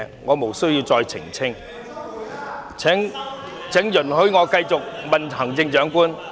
我無須再次澄清，請容許我繼續向行政長官提問。